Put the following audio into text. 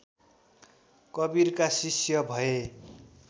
कवीरका शिष्य भए